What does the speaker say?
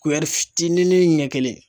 fitininin ɲɛ kelen.